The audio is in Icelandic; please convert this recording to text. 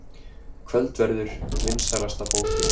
Kvöldverður vinsælasta bókin